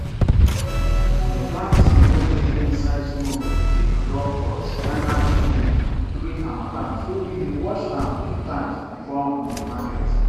di black tin wey dey inside smoke dey quick drop for spinach leaf during harmattan so we dey wash am two times before um market